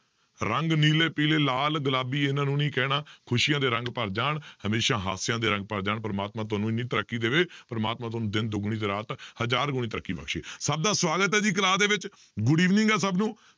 ਰੰਗ ਨੀਲੇ, ਪੀਲੇ, ਲਾਲ, ਗੁਲਾਬੀ ਇਹਨਾਂ ਨੂੰ ਨੀ ਕਹਿਣਾ ਖ਼ੁਸ਼ੀਆਂ ਦੇ ਰੰਗ ਭਰ ਜਾਣ, ਹਮੇਸ਼ਾ ਹਾਸਿਆਂ ਦੇ ਰੰਗ ਭਰ ਜਾਣ, ਪ੍ਰਮਾਤਮਾ ਤੁਹਾਨੂੰ ਇੰਨੀ ਤਰੱਕੀ ਦੇਵੇ ਪਰਮਾਤਮਾ ਤੁਹਾਨੂੰ ਦਿਨ ਦੁਗਣੀ ਰਾਤ ਹਜ਼ਾਰ ਗੁਣੀ ਤਰੱਕੀ ਬਖ਼ਸ਼ੇ ਸਭ ਦਾ ਸਵਾਗਤ ਹੈ ਜੀ class ਦੇ ਵਿੱਚ good evening ਹੈ ਸਭ ਨੂੰ।